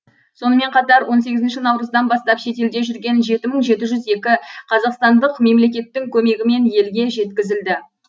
сонымен қатар он сегізінші наурыздан бастап шетелде жүрген жеті мың жеті жүз екі қазақстандық мемлекеттің көмегімен елге жеткізілді